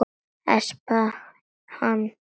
Espa hann.